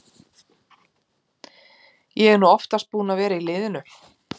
Ég er nú oftast búinn að vera í liðinu.